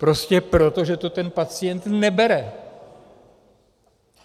Prostě proto, že to ten pacient nebere.